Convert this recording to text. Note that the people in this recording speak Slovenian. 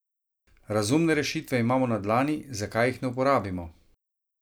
Razumne rešitve imamo na dlani, zakaj jih ne uporabimo?